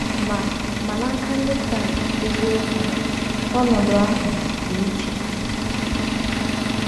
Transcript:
Ma Ma n’aka Ndị Kraịst eziokwu, ọnọdụ ahụ dị iche.